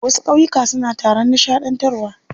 Wasu ƙauyukan suna taron nishaɗantarwa.